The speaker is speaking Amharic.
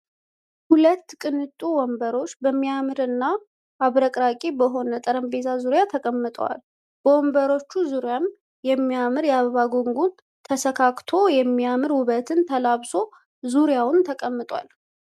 ሁለት ቅንጡ ወንበሮች በሚያምር እና አብረቅራቂ በሆነ ጠረጴዛ ዙሪያ ተቀምጠዋል። በወንበሮቹ ዙሪያም የሚያምር የአበባ ጉንጉን ተሰካክቶ የሚያምር ዉበትን ተላብሶ ዙሪያውን ተቀምጧል።